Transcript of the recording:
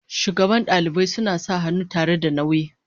shugaban dalibai suna sa hannu tare da nauyi.